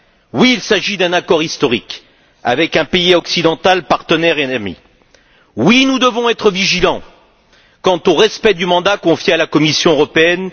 Oui, il s'agit d'un accord historique, avec un pays occidental partenaire et ami. Oui, nous devons être vigilants quant au respect du mandat confié à la Commission européenne.